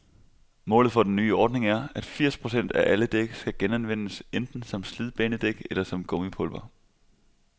Målet for den nye ordning er, at firs procent af alle dæk skal genanvendes, enten som slidbanedæk eller som gummipulver.